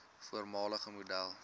voormalige model